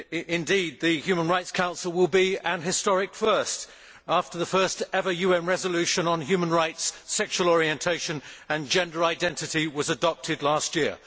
Indeed, the Human Rights Council will be an historic first, after the first ever UN resolution on human rights, sexual orientation and gender identity was adopted last year.